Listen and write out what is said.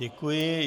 Děkuji.